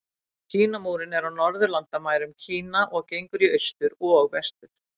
Kínamúrinn er á norðurlandamærum Kína og gengur í austur og vestur.